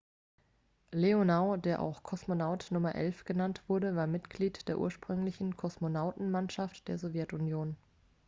"leonow der auch "kosmonaut nr. 11" genannt wurde war mitglied der ursprünglichen kosmonautenmannschaft der sowjetunion.